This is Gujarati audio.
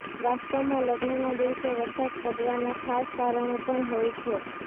વાસ્તવમાં લગ્નના દિવસે વરસાદ પડવાના ખાસ કારણો પણ હોય છે